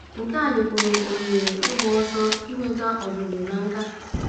Nke a nyekwuru m ohere ịgbaso inweta ọzụzụ na nkà.